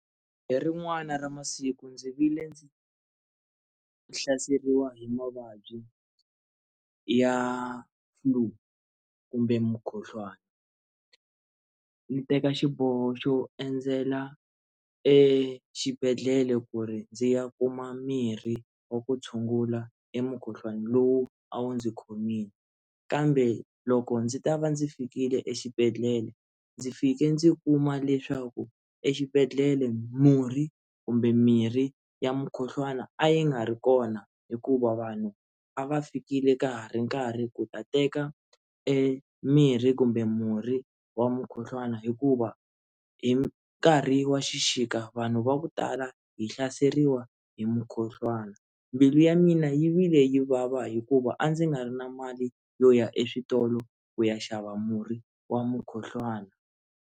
Hi rin'wana ra masiku ndzi vile ndzi hlaseriwa hi mavabyi ya flue kumbe mukhuhlwani ndzi teka xiboho xo endzela exibedhlele ku ri ndzi ya kuma mirhi wa ku tshungula emukhuhlwani lowu a wu ndzi khomile kambe loko ndzi ta va ndzi fikile exibedhlele ndzi fike ndzi kuma leswaku exibedhlele murhi kumbe mirhi ya mukhuhlwani a yi nga ri kona hikuva vanhu a va fikile ka ha ri nkarhi ku ta teka emirhi kumbe murhi wa mukhuhlwana hikuva hi nkarhi wa xixika vanhu va ku tala hi hlaseriwa hi mukhuhlwana mbilu ya mina yi vile yi vava hikuva a ndzi nga ri na mali yo ya eswitolo ku ya xava murhi wa mukhuhlwana.